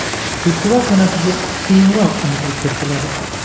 Festival sanasiga keyinroq aniqlik kiritiladi.